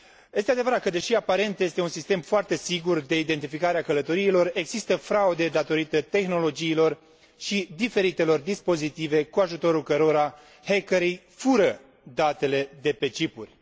Este adevărat că, deși, aparent, este un sistem foarte sigur de identificare a călătoriilor, există fraude datorită tehnologiilor și diferitelor dispozitive cu ajutorul cărora hackerii fură datele de pe cipuri.